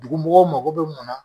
Dugu mɔgɔw mago bɛ mun na